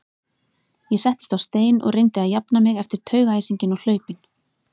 Ég settist á stein og reyndi að jafna mig eftir taugaæsinginn og hlaupin.